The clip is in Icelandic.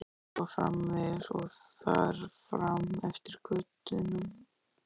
Og svo framvegis og þar fram eftir götum.